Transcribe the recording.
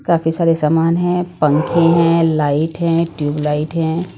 काफी सारे सामान हैं पंखे हैं लाइट हैं ट्यूबलाइट हैं।